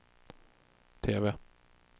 TV